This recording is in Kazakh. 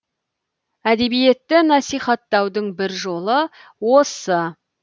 әдебиетті насихаттаудың бір жолы осы